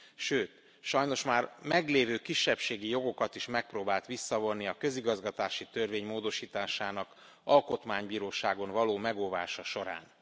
Sőt, sajnos már meglévő kisebbségi jogokat is megpróbált visszavonni a közigazgatási törvény módosításának Alkotmánybíróságon való megóvása során.